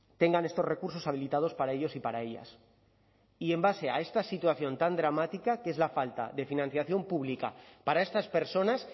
tengan estos recursos habilitados para ellos y para ellas y en base a esta situación tan dramática que es la falta de financiación pública para estas personas